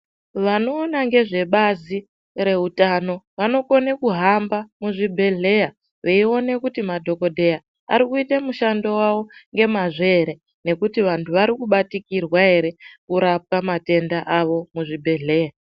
Vanoona ngezvebazi reutano vanokone kuhamba muzvibhedhleya veiona kuti madhokodheya varikuite mishando yavo ngemazvo here nekuti vanhu varikubatikirwa ere kurapwa matenda avo muzvibhedhleya.